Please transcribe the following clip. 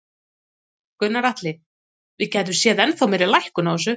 Gunnar Atli: Við gætum séð ennþá meiri lækkun á þessu?